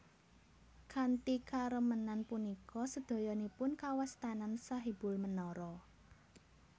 Kanthi karemenan punika sedayanipun kawastanan Sahibul Menara